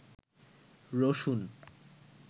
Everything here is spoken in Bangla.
রসুন